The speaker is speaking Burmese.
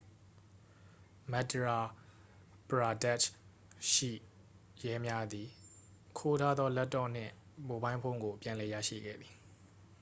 မဒ်ယာပရာဒက်ရှ်ရဲများသည် ခိုးထားသော လပ်တော့နှင့် မိုဘိုင်းဖုန်းကို ပြန်လည်ရရှိခဲ့သည်